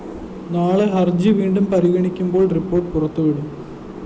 നാളെ ഹര്‍ജി വീണ്ടും പരിഗണിക്കുമ്പോള്‍ റിപ്പോർട്ട്‌ പുറത്തുവിടും